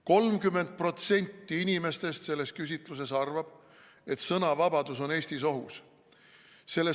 30% inimestest selles küsitluses arvab, et sõnavabadus on Eestis ohus.